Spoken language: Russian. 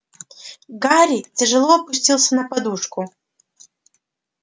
гарри тяжело опустился на подушку